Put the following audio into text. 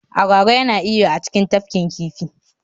Agwagwa yana iyo a cikin tafkin kifi